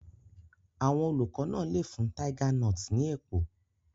Àwọn olùkọ́ náà lè fún tiger nuts ní èpò.